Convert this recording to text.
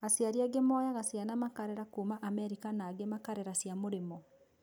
Aciari angĩ moyaga ciana makarera kuma Amerika na angĩ makarera cia mũrĩmo.